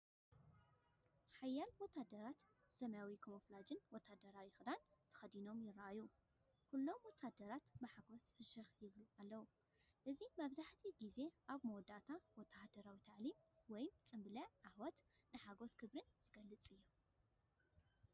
ሓያሎ ወተሃደራት ሰማያዊ ካሞፍላጅ ወተሃደራዊ ክዳን ተኸዲኖም ይረኣዩ። ኩሎም ወተሃደራት ብሓጎስ ፍሽኽ ይብሉ ኣለዉ። እዚ መብዛሕትኡ ግዜ ኣብ መወዳእታ ወተሃደራዊ ታዕሊም ወይ ጽምብል ዓወት ንሓጐስን ክብርን ዝገልጽ እዩ።